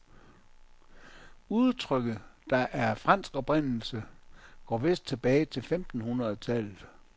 Udtrykket, der er af fransk oprindelse, går vist tilbage til femten hundrede tallet.